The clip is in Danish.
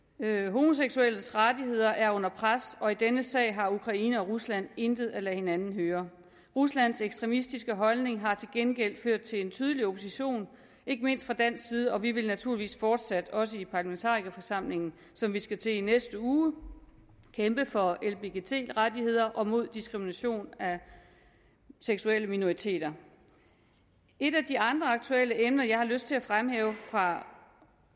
homoseksuelles rettigheder er under pres og i denne sag har ukraine og rusland intet at lade hinanden høre ruslands ekstremistiske holdning har til gengæld ført til en tydelig opposition ikke mindst fra dansk side og vi vil naturligvis fortsat også i parlamentarikerforsamlingen som vi skal til møde i i næste uge kæmpe for lbgt rettigheder og mod diskrimination af seksuelle minoriteter et af de andre aktuelle emner jeg har lyst til at fremhæve fra